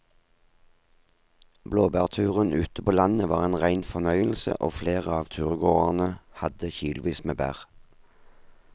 Blåbærturen ute på landet var en rein fornøyelse og flere av turgåerene hadde kilosvis med bær.